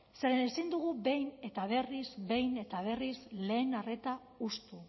zeren ezin dugu behin eta berriz behin eta berriz lehen arreta hustu